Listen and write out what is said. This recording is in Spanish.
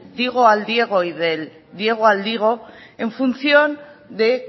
digo al diego y del diego al digo en función de